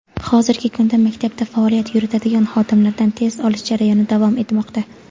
hozirgi kunda maktabda faoliyat yuritadigan xodimlardan test olish jarayoni davom etmoqda.